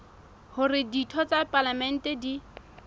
hore ditho tsa palamente di